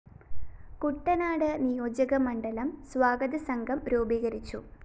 കുട്ടനാട് നിയോജകമണ്ഡലം സ്വാഗതസംഘം രൂപീകരിച്ചു